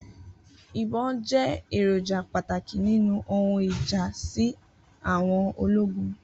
Ibon jẹ eroja pataki ninu ohun ija si àwọn ologun